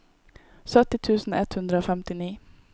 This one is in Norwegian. sytti tusen ett hundre og femtini